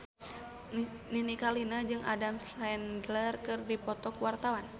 Nini Carlina jeung Adam Sandler keur dipoto ku wartawan